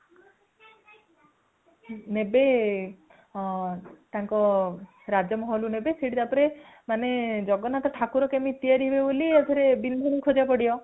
ନେବେ ହଁ ତାଙ୍କ ରାଜମହଲ କୁ ନେବେ ସେଠି ତାପରେ ମାନେ ଜଗନ୍ନାଥ ଠାକୁର କେମିତି ତିଆରି ହେବେ ବୋଲି ଆଉ ଥରେ ବିନ୍ଧୁଣି ଖୋଜିବାକୁ ପଡିବ |